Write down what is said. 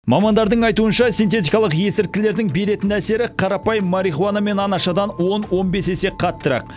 мамандардың айтуынша синтетикалық есірткілердің беретін әсері қарапайым марихуана мен анашадан он он бес есе қаттырақ